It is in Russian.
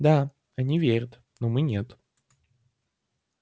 да они верят но мы нет